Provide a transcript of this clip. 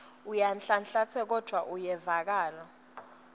uyanhlanhlatsa kodvwa kuyevakala